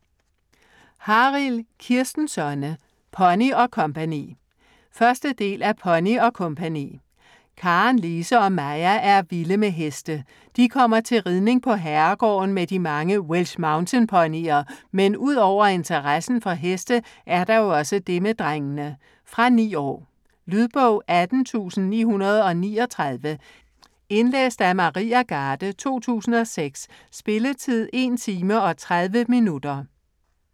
Harild, Kirsten Sonne: Pony & co. 1. del af Pony & co. Karen, Lise og Maja er vilde med heste. De kommer til ridning på herregården med de mange Welsh Mountain ponyer, men ud over interessen for heste, er der jo også det med drengene. Fra 9 år. Lydbog 18939 Indlæst af Maria Garde, 2006. Spilletid: 1 timer, 30 minutter.